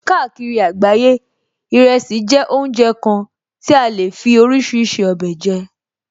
Káàkiri àgbáyé, ìrẹsì jẹ́ oúnjẹ kan ti a lè fí oríṣiríṣi ọbẹ̀ jẹ